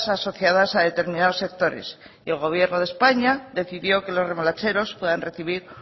asociadas a determinados sectores y el gobierno de españa decidió que los remolacheros puedan recibir